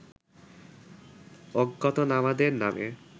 অজ্ঞাতনামাদের নামে